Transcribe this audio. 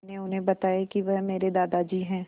मैंने उन्हें बताया कि वह मेरे दादाजी हैं